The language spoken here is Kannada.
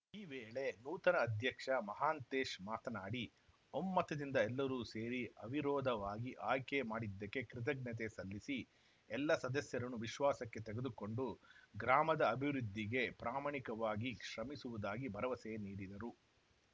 ಈ ವೇಳೆ ನೂತನ ಅಧ್ಯಕ್ಷ ಮಹಾಂತೇಶ್‌ ಮಾತನಾಡಿ ಒಮ್ಮತದಿಂದ ಎಲ್ಲರೂ ಸೇರಿ ಅವಿರೋಧವಾಗಿ ಆಯ್ಕೆ ಮಾಡಿದ್ದಕ್ಕೆ ಕೃತಜ್ಞತೆ ಸಲ್ಲಿಸಿ ಎಲ್ಲ ಸದಸ್ಯರನ್ನು ವಿಶ್ವಾಸಕ್ಕೆ ತೆಗೆದುಕೊಂಡು ಗ್ರಾಮದ ಅಭಿವೃದ್ಧಿಗೆ ಪ್ರಾಮಾಣಿಕವಾಗಿ ಶ್ರಮಿಸುವುದಾಗಿ ಭರವಸೆ ನೀಡಿದರು